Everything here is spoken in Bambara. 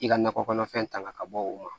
I ka nakɔ kɔnɔfɛn ta ka bɔ o ma